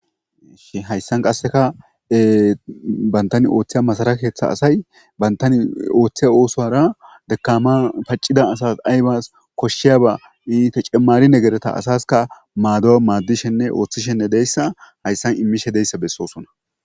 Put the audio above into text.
Hayssan qasekka banttan ooththoya maasara keththa asay banttan ooththoya oosuwara dekaman paciya asas aybas i tecemari negerekka asasikka maddo madishenne ooththishe dizayssi hayssan ooththishe dizayssi besossona